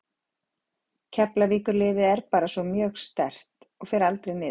Keflavíkurliðið er svo bara mjög sterkt og fer aldrei niður.